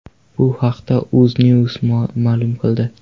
Bu haqda UzNews ma’lum qildi .